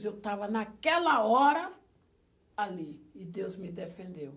Mas eu estava naquela hora ali e Deus me defendeu.